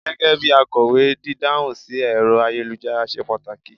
gégé bi akowe, didahun sí ẹrọ ayélujára ṣe pàtàkì